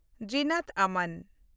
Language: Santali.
ᱡᱤᱱᱟᱛ ᱟᱢᱟᱱ